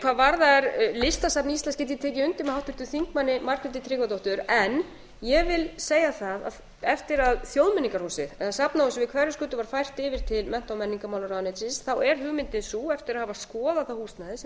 hvað varðar listasafn íslands þá get ég tekið undir með háttvirtum þingmanni margréti tryggvadóttur en ég vil segja það að eftir að þjóðmenningarhúsið eða safnahúsið við hverfisgötu var fært yfir til mennta og menningarmálaráðuneytis þá er hugmyndin sú eftir að hafa skoðað það húsnæði sem er